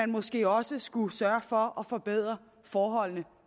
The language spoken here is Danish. måske også skulle sørge for at forbedre forholdene